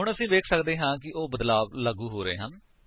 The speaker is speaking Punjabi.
ਹੁਣ ਅਸੀ ਵੇਖ ਸਕਦੇ ਹਾਂ ਕਿ ਉਹ ਬਦਲਾਵ ਲਾਗੂ ਹੋ ਰਹੇ ਹਨ